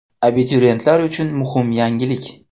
Abituriyentlar uchun muhim yangilik!!!.